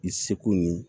I seko ni